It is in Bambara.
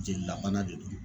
Jelilabana de don